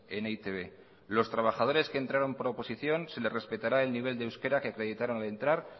en e i te be los trabajadores que entraron por oposición se les respetará el nivel de euskera que acreditaron al entrar